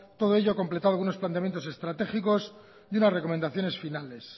todo ello completado con unos planteamientos estratégicos y una recomendaciones finales